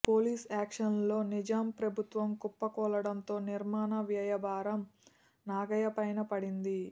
police యాక్షన్లో నిజాం ప్రభుత్వం కుప్పకూలడంతో నిర్మాణ వ్యయభారం నాగయ్యపైనే పడింది